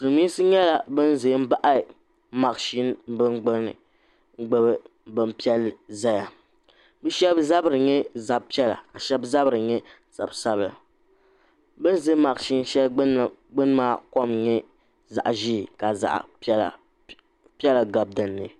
Silmiinsi nyɛla bin ʒɛ n baɣa mashini ka gbubi bin piɛlli zaya bi shɛba zabiri nyɛ zaɣa zab piɛla ka shɛba zabiri nyɛ zab sabila bin za mashini shɛli gbuni maa kɔm n nyɛ zaɣa ʒee ka zaɣa piɛla piɛla gabi din ni.